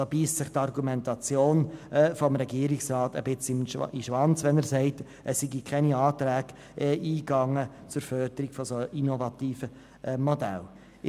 Hier beisst sich die Argumentation des Regierungsrats in den Schwanz, wenn er sagt, es seien gar keine Anträge zur Förderung innovativer Modelle eingegangen.